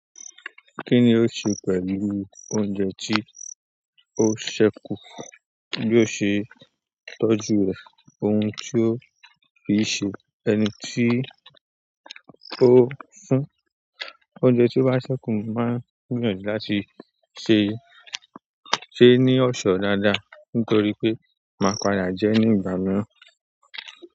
Ki ni o se pẹ̀lú oúnjẹ ti o se ku? Bí o ṣe tọ́jú rẹ̀, ohun tí o fi ṣe, ẹni tí ó ń ṣún. Oúnjẹ tí o ba ṣẹ́kù mo máa ń gbìyànjú láti ṣè se é ní ọ̀ṣọ́ dáadáa nítorí pé máa padà jẹ ní ìgbà mìíràn.